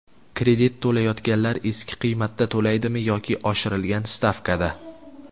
Kredit to‘layotganlar eski qiymatda to‘laydimi yoki oshirilgan stavkada?.